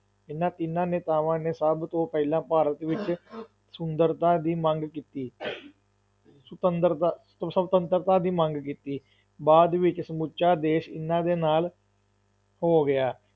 ਇਨ੍ਹਾਂ ਤਿੰਨਾਂ ਨੇਤਾਵਾਂ ਨੇ ਸਭ ਤੋਂ ਪਹਿਲਾਂ ਭਾਰਤ ਵਿੱਚ ਸੁੰਦਰਤਾ ਦੀ ਮੰਗ ਕੀਤੀ ਸੁਤੰਦਰਤਾ ਸੁਤੰਤਰਤਾ ਦੀ ਮੰਗ ਕੀਤੀ, ਬਾਅਦ ਵਿੱਚ ਸਮੁੱਚਾ ਦੇਸ਼ ਇਨ੍ਹਾਂ ਦੇ ਨਾਲ ਹੋ ਗਿਆ।